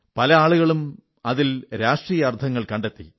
പല ആളുകളും അതിലും രാഷ്ട്രീയമായ അർഥങ്ങൾ കണ്ടെത്തി